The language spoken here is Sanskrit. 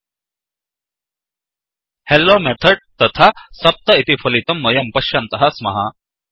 हेल्लो Methodहेल्लो मेथड्तथा 7इति फलितं वयं पश्यन्तः स्मः